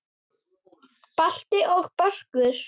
Balti og Börkur!